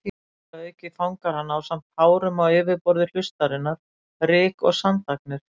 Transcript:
Þar að auki fangar hann, ásamt hárum á yfirborði hlustarinnar, ryk- og sandagnir.